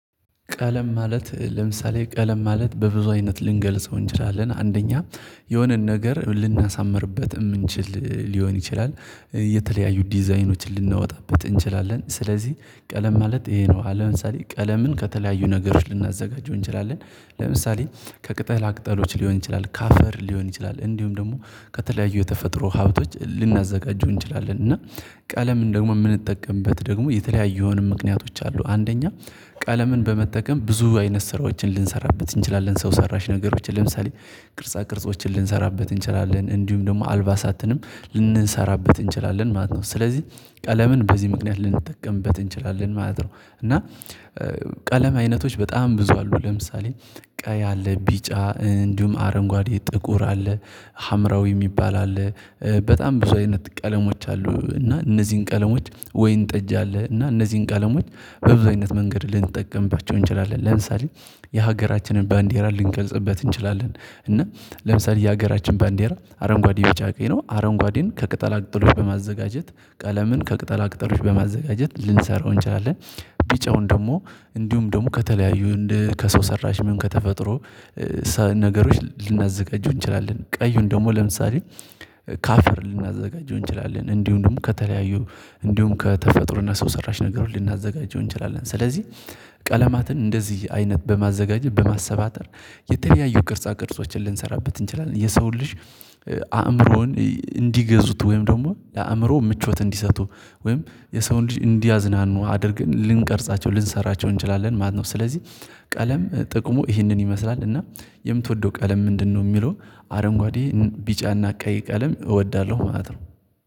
ቀለም ማለት ለምሳሌ ቀለም ማለት በብዙ አይነት ልንገልጸው እንችላለን። አንደኛ የሆነን ነገር ልናሳምርበት የምንችል ሊሆን ይችላል። የተለያዩ ዲዛይኖችን ልናወጣበት እንችላለን። ስለዚህ ቀለም ማለት ይሄ ነው። ለምሳሌ ቀለምን ከተለያዩ ነገሮች ልናዘጋጀው እንችላለን። ለምሳሌ ከቅጠል ቅጠሎች ሊሆን ይችላል፤ ከአፈር ሊሆን ይችላል። እንዲሁም ደግሞ ከተለያዩ የተፈጥሮ ሀብቶች ልናዘጋጀው እንችላለን እና ቀለም ደግሞም የምንጠቀምበት ደግሞ የተለያየውንም ምክንያቶች አሉ። አንደኛ ቀለምን በመጠቀም ብዙ አይነት ስራዎችን ልንሰራበት እንችላለን። ሰው ሰራሽ ነገሮችን ለምሳሌ ቅርጻ ቅርጾችን ልንሰራበት እንችላለን፣ እንዲሁም ደግሞ አልባሳትንም ልንሰራበት እንችላለን ማለት ነው። ስለዚህ ቀለምን በዚህ ምክንያት ልንጠቀምበት እንችላለን ማለት ነው። እና ቀለም አይነቶች በጣም ብዙ አሉ። ለምሳሌ ቀይ አለ፣ ቢጫ እንዲሁም አረንጓዴ፣ ጥቁር አለ ሀምራዊ የሚባል አለ። በጣም ብዙ አይነት ቀለሞች አሉ እና እነዚህን ቀለሞች ወይን ጠጅ አለ እና እነዚህን ቃለሞች በብዙ አይነት መንገድ ልንጠቀምባቸው እንችላለን። ለምሳሌ የሀገራችንን ባንዲራ ልንገልጽበት እንችላለን እና ለምሳሌ የሀገራችን ባንዴራ አረንጓዴ፣ ቢጫ፣ ቀይ ነው። አረንጓዴን ከቅጠል አቅጥሎት በማዘጋጀት ቀለምን ከቅጠላቅጠሎች በማዘጋጀት ልንሰራው እንችላለን ቢጫውን ደግሞ እንዲሁም ደግሞ ከተለያዩ እንደ፣ ከሰው ሰራሽ ምን ከተፈጥሮ ነገሮች ልናዘጋጁ እንችላለን። ቀዩን ደግሞ ለምሳሌ ከአፈር ልናዘጋጀው እንችላለን። እንዲሁ እንዲሁ ከተለያዩ እንዲሁም ከተፈጥሮና ሰው ሰራሽ ነገሩን ልናዘጋጀው እንችላለን። ስለዚህ ቀለማትን እንደዚህ አይነት በማዘጋጀት፣ በማሰባጠር የተለያዩ ቅርጻ ቅርጾችን ልንሰራበት እንችላለን። የሰውን ልጅ አእምሮን እንዲገዙት ወይም ደግሞ ለአእምሮ ምቾት እንዲሰጡ ወይም የሰውን ልጅ እንዲያዝናኑ አድርገን ልንቀርጻቸው፣ ልንሰራቸው እንችላለን ማነው። ስለዚህ ቀለም ጥቅሙ ይህንን ይመስላል እና የምትወደው ቀለም ምንድነው የሚለው አረንጓዴ ቢጫና ቀይ ቀለም እወዳለሁ ማለት ነው።